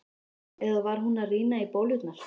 Eða var hún að rýna í bólurnar?